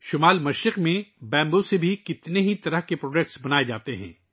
شمال مشرق میں بانس سے کئی قسم کی مصنوعات تیار کی جاتی ہیں